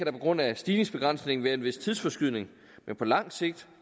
på grund af stigningsbegrænsningen være en vis tidsforskydning men på lang sigt